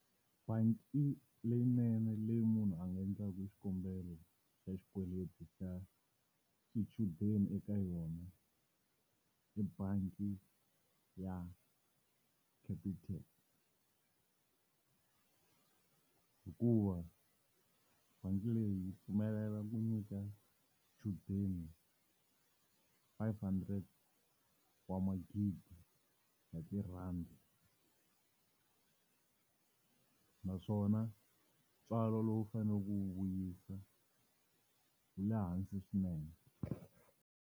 Bangi leyinene leyi munhu a nga endlaka xikombelo xa xikweleti xa xichudeni eka yona, i bangi ya Capitec hikuva bangi leyi yi pfumelela ku nyika xichudeni five hundred wa magidi ya tirhandi naswona ntswalo lowu faneleke u wu vuyisa wu le hansi swinene.